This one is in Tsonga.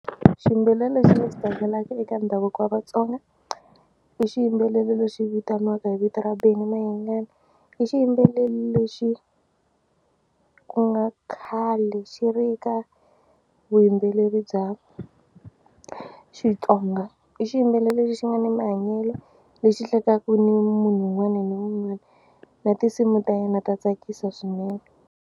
Xiyimbeleri lexi ni xi tlangelaka eka ndhavuko wa Vatsonga i xiyimbeleri lexi vitaniwaka hi vito ra Benny Mayengani. I xiyimbeleri lexi ku nga khale xi ri ka vuyimbeleri bya Xitsonga. I xiyimbeleri lexi xi nga n mahanyelo lexi hlekaku ni munhu un'wana na un'wana na tinsimu ta yena ta tsakisa swinene.